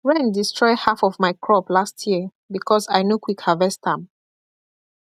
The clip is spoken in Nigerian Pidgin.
rain destroy half of my crop last year because i no quick harvest am